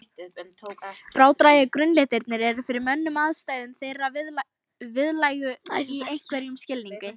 Frádrægu grunnlitirnir eru fyrir mönnum andstæður þeirra viðlægu í einhverjum skilningi.